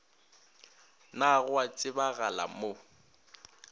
na go a tsebagala mo